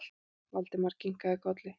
Valdimar kinkaði kolli.